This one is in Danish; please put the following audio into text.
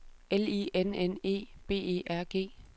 L I N N E B E R G